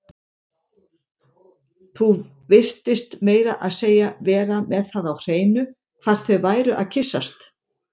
Þú virtist meira að segja vera með það á hreinu hvar þau væru að kyssast